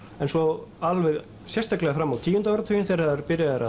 en svo alveg sérstaklega fram á tíunda áratuginn þegar byrjað er